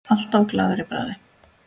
Alltaf glaður í bragði.